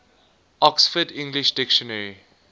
oxford english dictionary